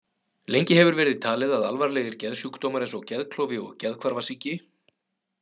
Lengi hefur verið talið að alvarlegir geðsjúkdómar eins og geðklofi og geðhvarfasýki.